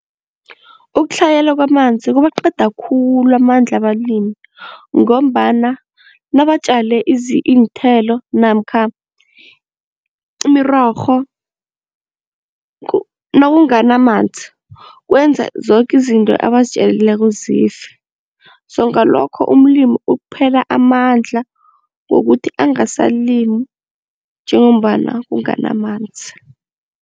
Ukutlhayela kwamanzi kubaqeda khulu amandla abalimi ngombana nabatjale iinthelo namkha imirorho nawunganamanzi kwenza zoke izinto abazitjalileko zife, so ngalokho umlimi uphela amandla wokuthi angasalimi njengombana kunganamanzi.